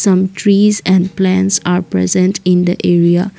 some trees and plants are present in the area.